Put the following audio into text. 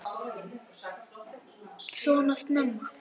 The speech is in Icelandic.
Svona snemma?